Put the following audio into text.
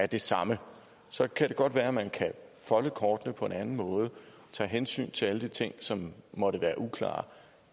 de samme så kan det godt være at man kan folde kortene på en anden måde og tage hensyn til alle de ting som måtte være uklare